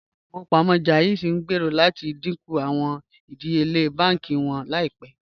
Ìlẹ̀-ifowopamọ JAIZ ngbéèrò láti díńkú awọn ìdíyèle bánkì wọn laípẹ̀.